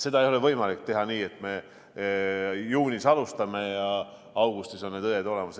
Seda ei ole võimalik teha nii, et me juunis alustame ja augustis on need õed olemas.